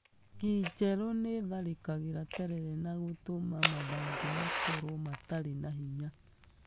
Ngi njerũ nĩ itharĩkagĩra terere na gũtũma mathangũ makorwo matarĩ na hinya.